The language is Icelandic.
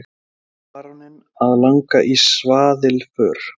Þá fór baróninn að langa í svaðilför.